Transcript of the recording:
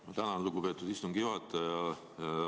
Ma tänan, lugupeetud istungi juhataja!